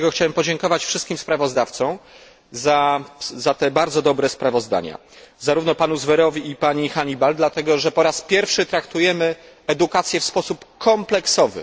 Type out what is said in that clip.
Dlatego chciałem podziękować wszystkim sprawozdawcom za te bardzo dobre sprawozdania, zarówno panu Zverowi i pani Honeyball dlatego, że po raz pierwszy traktujemy edukację w sposób kompleksowy.